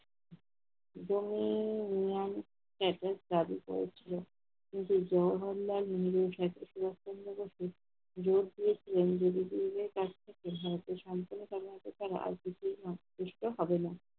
জমির নিয়ম একক প্লাবিত হচ্ছিল। কিন্তু জওহরলাল নেহেরু জোর করছিলেন যদি PM এর কাছ থেকে ভারতের সম্পূর্ণ কর্মকর্তার রাজনৈতিক মুখ ফুসকে হবেনা।